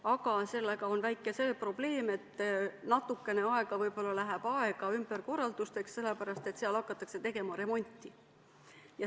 Aga sellega on see väike probleem, et natukene aega võib-olla läheb ümberkorraldusteks, sest seal hakatakse tegema remonti.